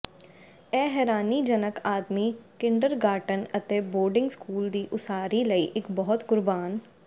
ਇਹ ਹੈਰਾਨੀਜਨਕ ਆਦਮੀ ਕਿੰਡਰਗਾਰਟਨ ਅਤੇ ਬੋਰਡਿੰਗ ਸਕੂਲ ਦੀ ਉਸਾਰੀ ਲਈ ਇੱਕ ਬਹੁਤ ਕੁਰਬਾਨ